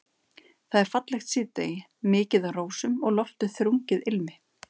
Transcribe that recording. Það er fallegt síðdegi, mikið af rósum og loftið þrungið ilmi.